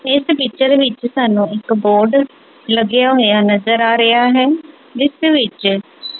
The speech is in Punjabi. ਏਸ ਪਿਕਚਰ ਵਿੱਚ ਸਾਨੂੰ ਇੱਕ ਬੋਰਡ ਲੱਗਿਆ ਹੋਇਆ ਨਜ਼ਰ ਆ ਰਿਹਾ ਹੈ ਜਿੱਸ ਵਿੱਚ--